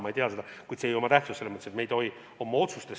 Ma ei tea seda, kuid mõnes mõttes see ei omagi tähtsust.